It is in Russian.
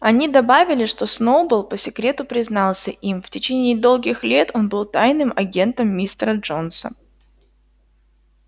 они добавили что сноуболл по секрету признался им в течение долгих лет он был тайным агентом мистера джонса